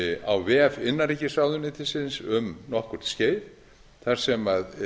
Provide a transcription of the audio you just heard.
á vef innanríkisráðuneytisins um nokkurt skeið þar sem